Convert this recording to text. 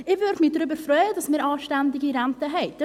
Ich würde mich darüber freuen, dass wir anständige Renten haben.